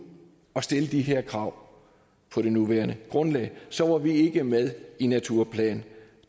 og stille de her krav på det nuværende grundlag så var vi ikke med i naturplan